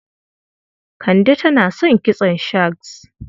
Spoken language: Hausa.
Kande tana son kitson shags.